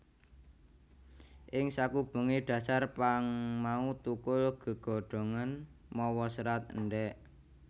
Ing sakubengé dhasar pang mau thukul gegodhongan mawa serat èndhèk